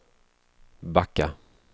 backa